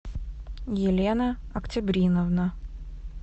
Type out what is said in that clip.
елена октябриновна